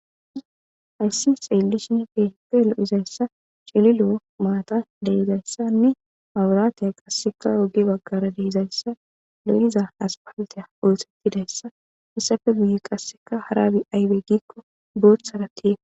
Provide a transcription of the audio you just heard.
Ayssi seellishin feppe lo7izayssa chililo7o maata deizayssanne paburaatiya qasseka ogi baggara deezayssa leliza aspalteya ooththettidayssa issafe guye qasseka haraabi aybe giikko bootsaratie